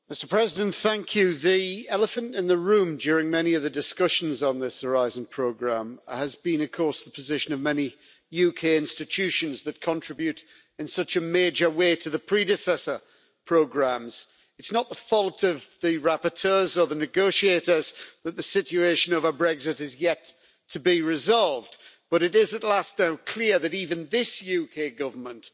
Mr President, the elephant in the room' during many of the discussions on this Horizon programme has been, of course, the position of many UK institutions that contribute in such a major way to the predecessor programmes. It's not the fault of the rapporteurs or the negotiators that the situation over Brexit is yet to be resolved, but it is at last now clear that even this UK Government